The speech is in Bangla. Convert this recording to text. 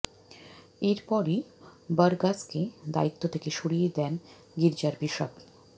এর পরই বরগাসকে দায়িত্ব থেকে সরিয়ে দেন গির্জার বিশপ